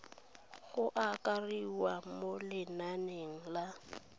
go akarediwa mo lenaneng la